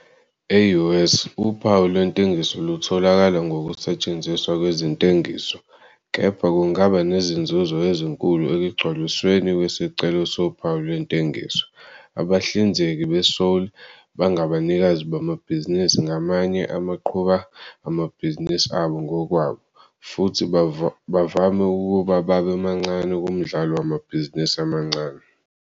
E-U. S., Uphawu lwentengiso lutholakala ngokusetshenziswa kwezentengiso, kepha kungaba nezinzuzo ezinkulu ekugcwalisweni kwesicelo sophawu lwentengiso. Abahlinzeki beSole bangabanikazi bamabhizinisi ngamanye abaqhuba amabhizinisi abo ngokwabo, futhi bavame ukuba babe mancane kumdlalo wamabhizinisi amancane.